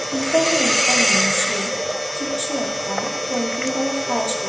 একানে একটা মানুষের কিছু একটা কম্পিউটারে খাজ কর--